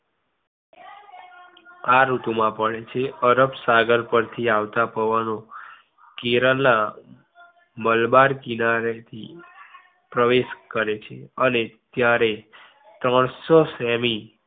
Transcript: આ ઋતુ માં પડે છે. અરબસાગર પર થી આવતા પવનો કેરેલા મલબાર કિનારે થી પ્રવેશ કરે છે અને ત્યારે સેમી